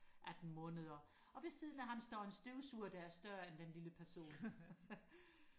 atten måneder og ved siden af ham står en støvsuger der er større end den lille person